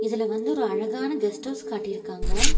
இதுல வந்து ஒரு அழகான கெஸ்ட்டௌஸ் காட்டிருக்காங்க.